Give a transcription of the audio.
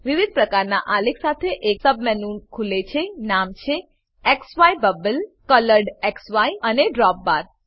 વિવિધ પ્રકારનાં આલેખો સાથે એક સબમેનુ ખુલે છે નામ છે ઝાય બબલ કોલોરેડક્સી અને ડ્રોપબાર